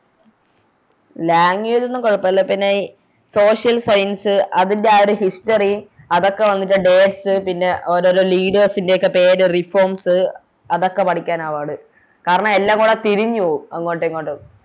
Language ഒന്നും കൊഴപ്പില്ല പിന്നെ ഈ Social science അതിൻറെ ആ ഒര് History അതൊക്കെ വന്നിട്ട് Dates പിന്നെ ഓരോരോ Leaders ൻറെ ഒക്കെ പേര് Reforms അതൊക്കെ പഠിക്കാനാ പാട് കാരണം എല്ലാം കൂടെ തിരിഞ്ഞ് പോകും അങ്ങോട്ടും ഇങ്ങോട്ടും